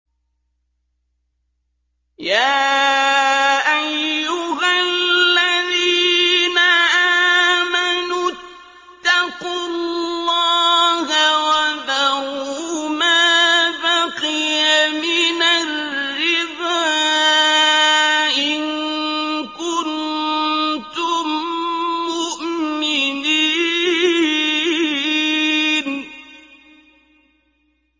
يَا أَيُّهَا الَّذِينَ آمَنُوا اتَّقُوا اللَّهَ وَذَرُوا مَا بَقِيَ مِنَ الرِّبَا إِن كُنتُم مُّؤْمِنِينَ